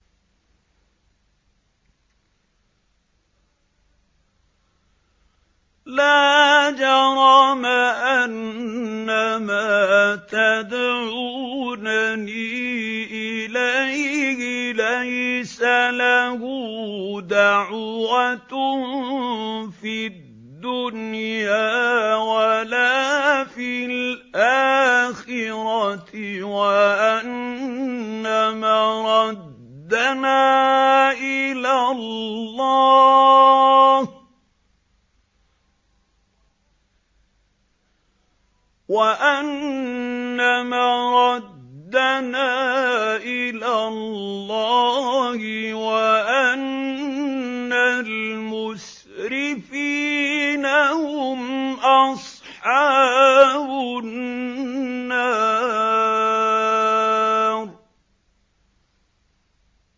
لَا جَرَمَ أَنَّمَا تَدْعُونَنِي إِلَيْهِ لَيْسَ لَهُ دَعْوَةٌ فِي الدُّنْيَا وَلَا فِي الْآخِرَةِ وَأَنَّ مَرَدَّنَا إِلَى اللَّهِ وَأَنَّ الْمُسْرِفِينَ هُمْ أَصْحَابُ النَّارِ